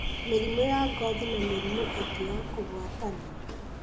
mĩrimũ ya ngothi, na mĩrimũ ĩngĩ ya kũgwatanio.